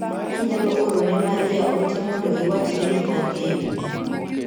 Inyalo oro ne Maria ote mondo iwach ne ni an e yoo.